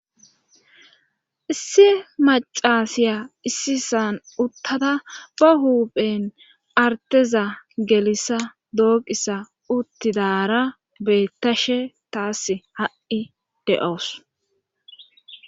issi macaasiya issi ssan uttada ba huuphen arteza gelissa dooqisa uttidara beettashe taas ha7i de7oos